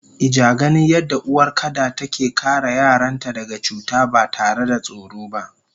Ijaganin yadda uwar kada take kare yaranta daga cuta batare da tsoro ba